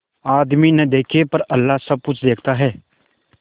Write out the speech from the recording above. आदमी न देखे पर अल्लाह सब कुछ देखता है